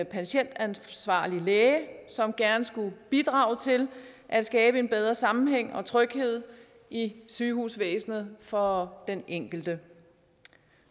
patientansvarlig læge som gerne skulle bidrage til at skabe en bedre sammenhæng og tryghed i sygehusvæsenet for den enkelte